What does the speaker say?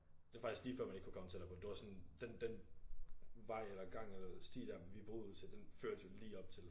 Det faktisk lige før man ikke kunne komme tættere på det var sådan den den vej eller gang eller sti der vi boede ud til den førte os jo lige op til